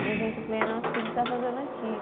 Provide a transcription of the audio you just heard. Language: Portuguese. Uma gente, eu falei, nossa, o que a gente está fazendo aqui?